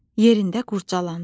Yerində qurcalandı.